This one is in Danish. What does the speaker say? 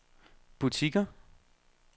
butikker